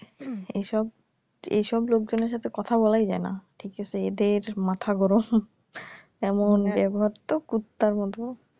এইসব এইসব লোকজনের সাথে কথা বলাই যায়না ঠিক আছে এদের মাথা গরম এমন ব্যবহার তো কুত্তার মত